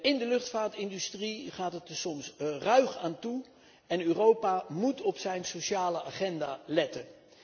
In de luchtvaartindustrie gaat het er soms ruig aan toe en Europa moet op zijn sociale agenda letten.